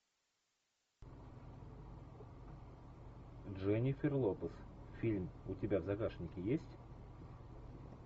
дженнифер лопес фильм у тебя в загашнике есть